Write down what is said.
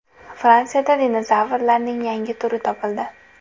Fransiyada dinozavrlarning yangi turi topildi.